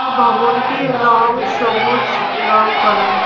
ববনটির রং সবুজ রং করা।